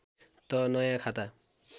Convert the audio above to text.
त नयाँ खाता